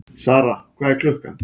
Sara, hvað er klukkan?